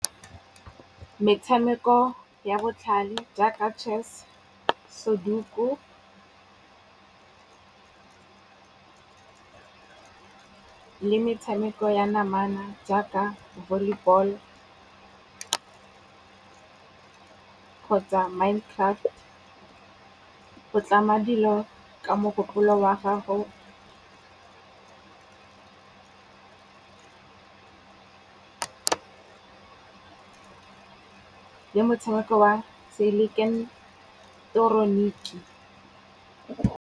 Metshameko ya botlhale jaaka chess, Soduko le metshameko ya namana jaaka volleyball-o kgotsa Mindcraft. O tlama dilo ka mogopolo wa gago le motshameko wa seileketoroniki.